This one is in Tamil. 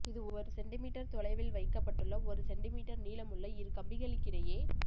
இது ஒரு சென்டி மீட்டர் தொலைவில் வைக்கப்பட்டுள்ள ஒரு சென்டி மீட்டர் நீளமுள்ள இரு கம்பிகளுக்கிடையே